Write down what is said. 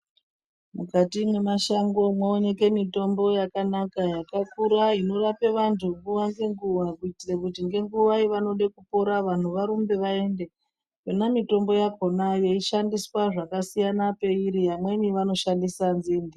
Mukati mwemashango moonekwe mitombo yakanaka yakakura inorapa vantu nguva nenguva kuitira kuti nenguva yavanoda kupona vantu varumbe vaende. Yona mitombo yakhona yeishandiswa zvakasiyana pairi vamweni vanoshandisa nzinde.